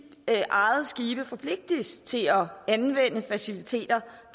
forpligtes til at anvende faciliteter